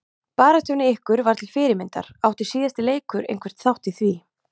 Baráttan hjá ykkur var til fyrirmyndar, átti síðasti leikur einhvern þátt í því?